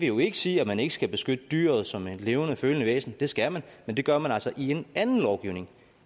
jo ikke sige at man ikke skal beskytte dyret som et levende følende væsen det skal man men det gør man altså i en anden lovgivning